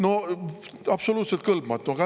No absoluutselt kõlbmatu!